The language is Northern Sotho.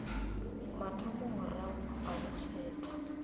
mathomo morago ga go kgethwa